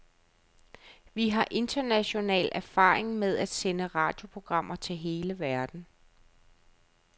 Vi har international erfaring med at sende radioprogrammer til hele verden.